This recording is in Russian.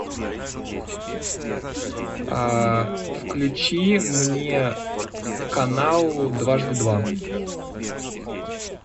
включи мне канал дважды два